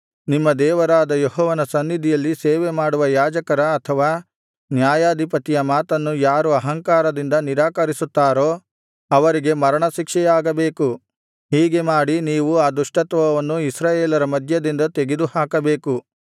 ನಿಮ್ಮ ದೇವರಾದ ಯೆಹೋವನ ಸನ್ನಿಧಿಯಲ್ಲಿ ಸೇವೆ ಮಾಡುವ ಯಾಜಕರ ಅಥವಾ ನ್ಯಾಯಾಧಿಪತಿಯ ಮಾತನ್ನು ಯಾರು ಅಹಂಕಾರದಿಂದ ನಿರಾಕರಿಸುತ್ತಾರೋ ಅವರಿಗೆ ಮರಣಶಿಕ್ಷೆಯಾಗಬೇಕು ಹೀಗೆ ಮಾಡಿ ನೀವು ಆ ದುಷ್ಟತ್ವವನ್ನು ಇಸ್ರಾಯೇಲರ ಮಧ್ಯದಿಂದ ತೆಗೆದುಹಾಕಬೇಕು